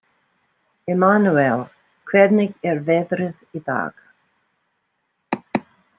Immanúel, hvernig er veðrið í dag?